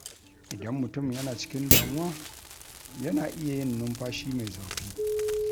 Idan mutum yana cikin damuwa, yana iya yin numfashi mai zurfi.